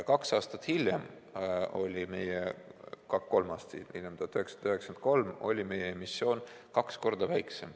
Kolm aastat hiljem, 1993 oli meie emissioon kaks korda väiksem.